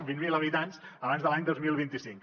vint mil habitants abans de l’any dos mil vint cinc